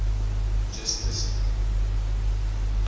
justisie